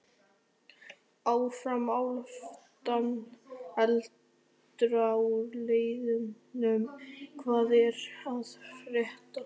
Áfram Álftanes.Eldra úr liðnum Hvað er að frétta?